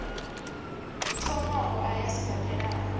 thomaho a ya sibadela a